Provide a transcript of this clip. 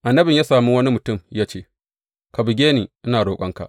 Annabin ya sami wani mutum ya ce, Ka buge ni, ina roƙonka.